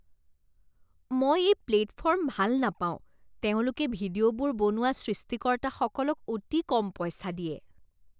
মই এই প্লেটফৰ্ম ভাল নাপাওঁ। তেওঁলোকে ভিডিঅ'বোৰ বনোৱা সৃষ্টিকৰ্তাসকলক অতি কম পইচা দিয়ে।